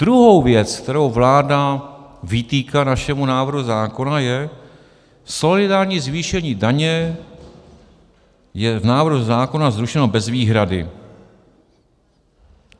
Druhá věc, kterou vláda vytýká našemu návrhu zákona, je: solidární zvýšení daně je v návrhu zákona zrušeno bez výhrady. -